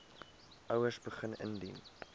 ouers begin indien